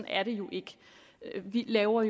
er det jo ikke vi laver